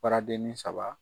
Baradennin saba